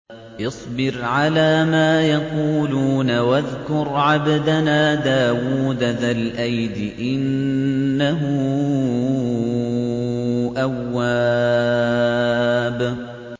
اصْبِرْ عَلَىٰ مَا يَقُولُونَ وَاذْكُرْ عَبْدَنَا دَاوُودَ ذَا الْأَيْدِ ۖ إِنَّهُ أَوَّابٌ